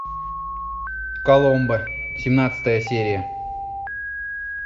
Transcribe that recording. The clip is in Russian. коломбо семнадцатая серия